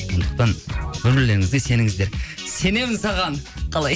сондықтан бір бірлеріңізге сеніңіздер сенемін саған қалай